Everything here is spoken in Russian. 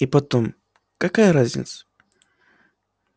и потом какая разница